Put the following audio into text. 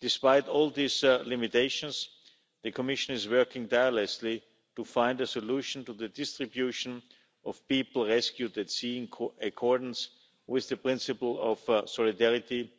Despite all these limitations, the Commission is working tirelessly to find a solution to the distribution of people rescued at sea, in accordance with the principle of solidarity